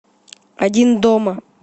один дома